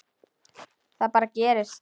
Það bara gerist.